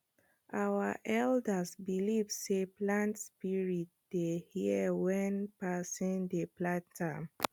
our elders believe sey plant spirit dey hear when person dey plant am